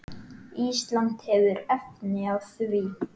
Ísland hefur efni á því.